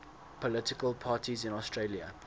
political parties in australia